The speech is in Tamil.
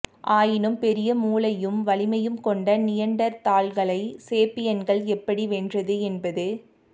ஆயினும் பெரிய மூளையும் வலிமையும் கொண்ட நியண்டர்தால்களை சேப்பியன்கள் எப்படி வென்றனர் என்பது